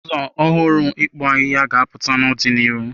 Ụzọ ọhụrụ nke ịkpụ ahịhịa ga-apụta n'ọdịnihu.